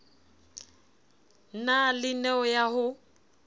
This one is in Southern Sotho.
na le neo ya ho